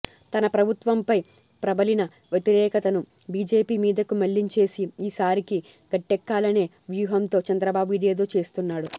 తన ప్రభుత్వంపై ప్రబలిన వ్యతిరేకతను బీజేపీ మీదకు మళ్లించేసి ఈ సారికి గట్టెక్కాలనే వ్యూహంతో చంద్రబాబు ఇదేదో చేస్తున్నాడు